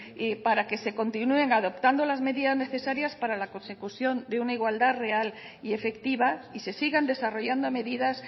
para que se continúen adoptando las medidas necesarias para la consecución de una igualdad real y efectiva y se sigan desarrollando medidas